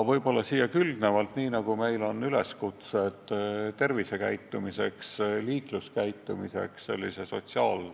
Meil on ju tehtud sotsiaalse reklaami abil üleskutseid õigeks tervise- ja liikluskäitumiseks.